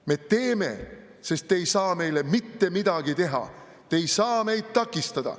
"Me teeme, sest te ei saa meile mitte midagi teha, te ei saa meid takistada.